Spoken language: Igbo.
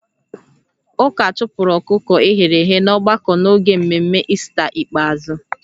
Ụka chụpụrụ ọkụkọ e ghere eghe n'ọgbakọ n'oge mmemme Ista ikpeazụ